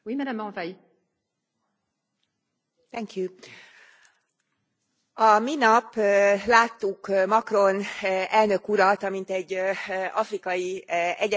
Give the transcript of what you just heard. A minap láttuk Macron elnök urat, amint egy afrikai egyetemen tartott előadást és konzultációt a diákokkal, illetve az oktatókkal.